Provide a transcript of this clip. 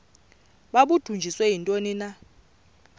babudunjiswe yintoni na